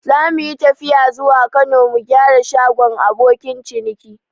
Zamuyi tafiya zuwa Kano mu gyara shagon abokin ciniki